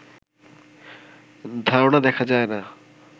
ধারণা দেখা যায় না